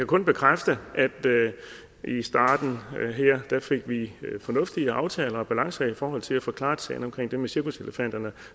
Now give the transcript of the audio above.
kun bekræfte at i starten her fik vi fornuftige aftaler og balancer i forhold til at få klaret sagen om det med cirkuselefanterne